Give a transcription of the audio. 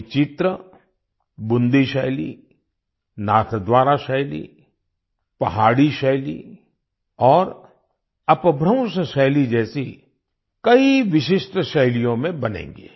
ये चित्र बूंदी शैली नाथद्वारा शैली पहाड़ी शैली और अपभ्रंश शैली जैसी कई विशिष्ट शैलियों में बनेंगे